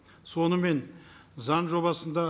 сонымен заң жобасында